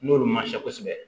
N'olu man se kosɛbɛ